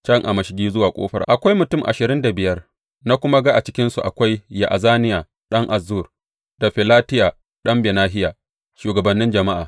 Can a mashigi zuwa ƙofar akwai mutum ashirin da biyar, na kuma ga a cikinsu akwai Ya’azaniya ɗan Azzur da Felatiya ɗan Benahiya, shugabannin jama’a.